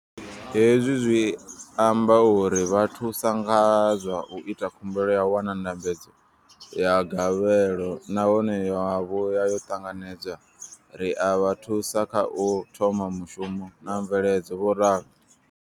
Hezwi zwi amba uri ri vha thusa nga zwa u ita khumbelo ya u wana ndambedzo ya gavhelo nahone ya vhuya ya ṱanganedzwa, ri a vha thusa kha u thoma mushumo na mveledzo, vho ralo.